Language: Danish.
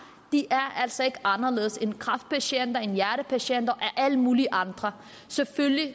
de er altså ikke anderledes end kræftpatienter end hjertepatienter og alle mulige andre selvfølgelig